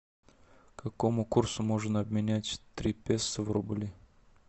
какому курсу можно обменять три песо в рубли